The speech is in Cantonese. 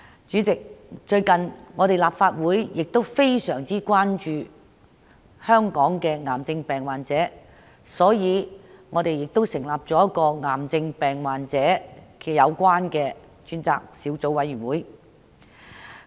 主席，最近立法會非常關注本港癌症病患者的情況，故此成立了支援癌症病患者事宜小組委員會作出跟進。